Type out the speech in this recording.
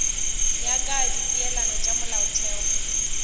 ya ka dipeelano tša molaotheo